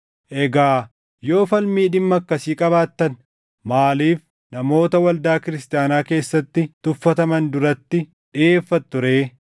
Egaa yoo falmii dhimma akkasii qabaattan maaliif namoota waldaa Kiristaanaa keessatti tuffataman duratti dhiʼeeffattu ree?